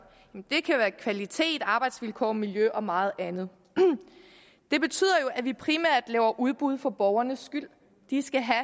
det kan være kvalitet arbejdsvilkår miljø og meget andet det betyder jo at vi primært laver udbud for borgernes skyld de skal have